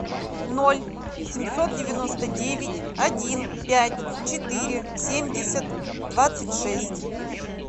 ноль семьсот девяносто девять один пять четыре семьдесят двадцать шесть